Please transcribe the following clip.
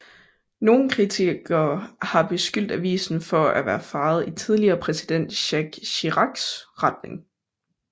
Nogle kritikere har beskyldt avisen for at være farvet i tidligere præsident Jacques Chiracs retning